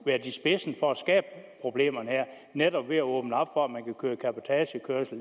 været i spidsen for at skabe problemerne her netop ved at åbne op for at man kan køre cabotagekørsel